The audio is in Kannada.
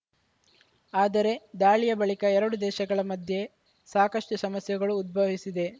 ಆದರೆ ದಾಳಿಯ ಬಳಿಕ ಎರಡು ದೇಶಗಳ ಮಧ್ಯೆ ಸಾಕಷ್ಟುಸಮಸ್ಯೆಗಳು ಉದ್ಭವಿಸಿದೆ